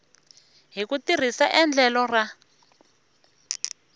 hi ku tirhisa endlelo ra